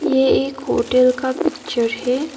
ये एक होटल का पिक्चर है।